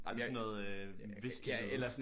Ej det er sådan noget øh hviske noget